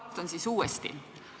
Ma alustan siis uuesti.